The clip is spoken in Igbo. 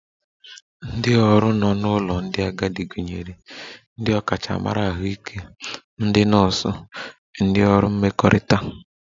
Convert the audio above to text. Ndị ọrụ nọ n'ụlọ ndị agadi gụnyere ndị ọkachamara Ahụike, ndị nọọsụ, ndị ọrụ mmekọrịta